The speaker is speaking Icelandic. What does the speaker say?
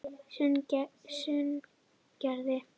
Sunnugerði